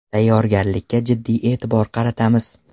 Tayyorgarlikka jiddiy e’tibor qaratamiz.